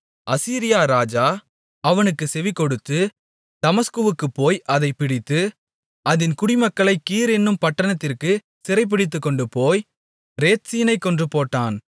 அசீரியா ராஜா அவனுக்குச் செவிகொடுத்து தமஸ்குவுக்குப்போய் அதைப் பிடித்து அதின் குடிமக்களைக் கீர் என்னும் பட்டணத்திற்குச் சிறைபிடித்துக்கொண்டுபோய் ரேத்சீனைக் கொன்றுபோட்டான்